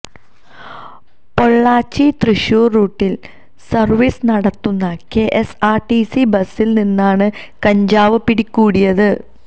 പൊള്ളാച്ചി തൃശൂര് റൂട്ടില് സര്വീസ് നടത്തുന്ന K S R T C ബസില് നിന്നാണ് കഞ്ചാവ് പിടികൂടിയത്